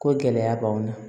Ko gɛlɛya b'an kan